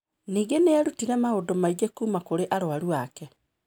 Ningĩ nĩ eerutire maũndũ maingĩ kuuma kũrĩ arũaru ake.